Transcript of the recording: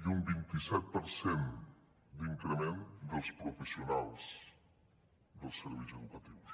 i un vint i set per cent d’increment dels professionals dels serveis educatius